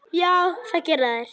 Já, það gera þeir.